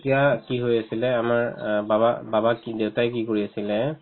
তেতিয়া কি হৈ আছিলে আমাৰ অ বাবা~ বাবাই কি দেউতাই কি কৰি আছিলে